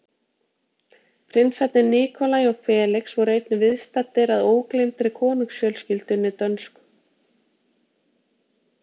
Prinsarnir Nikolaj og Felix voru einnig viðstaddir að ógleymdri konungsfjölskyldunni dönsku.